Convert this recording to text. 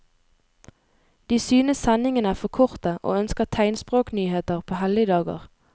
De synes sendingene er for korte og ønsker tegnspråknyheter på helligdager.